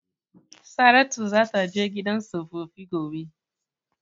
Saratu zata je gidan tsofaffi gobe.